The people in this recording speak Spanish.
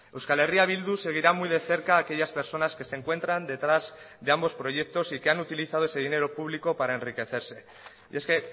euskal herria bildu seguirá muy de cerca a aquellas personas que se encuentran detrás de ambos proyectos y que han utilizado ese dinero público para enriquecerse y es que